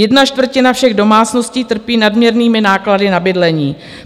Jedna čtvrtina všech domácností trpí nadměrnými náklady na bydlení.